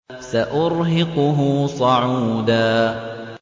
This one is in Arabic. سَأُرْهِقُهُ صَعُودًا